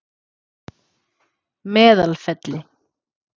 Meðalfelli